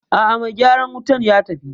A'a mai gyaran wutan ya tafi